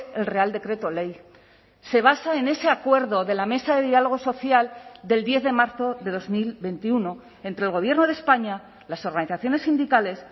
el real decreto ley se basa en ese acuerdo de la mesa de diálogo social del diez de marzo de dos mil veintiuno entre el gobierno de españa las organizaciones sindicales